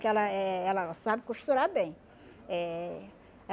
Que ela eh ela sabe costurar bem. Eh